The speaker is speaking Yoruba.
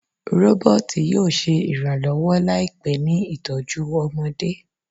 Roboti yoo ṣe iranlọwọ laipẹ ni itọju ọmọde